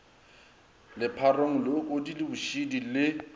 lepharong leokodi le bošidi le